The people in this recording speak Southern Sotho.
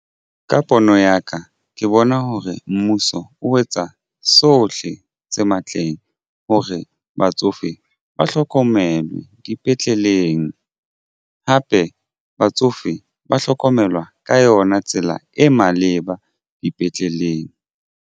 Ka pono ya ka ke bona hore mmuso o etsa sohle se matleng hore batsofe ba hlokomelwe dipetleleng hape batsofe ba hlokomelwa ka yona tsela e maleba dipetleleng.